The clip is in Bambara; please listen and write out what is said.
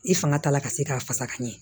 I fanga t'a la ka se k'a fasa ka ɲɛ